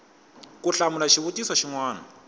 ku hlamula xivutiso xin wana